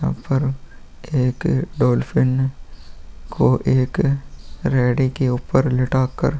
यहाँ पर एक डॉलफिन को एक रेडी के ऊपर लेटाकर --